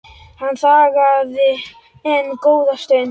Hann þagði enn góða stund.